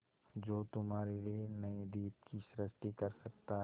जो तुम्हारे लिए नए द्वीप की सृष्टि कर सकता है